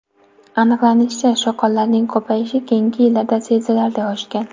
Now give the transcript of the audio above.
Aniqlanishicha, shoqollarning ko‘payishi keyingi yillarda sezilarli oshgan.